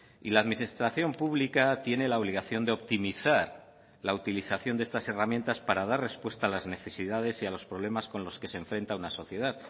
y la administración pública tiene la obligación de optimizar la utilización de estas herramientas para dar respuesta a las necesidades y a los problemas con los que se enfrenta una sociedad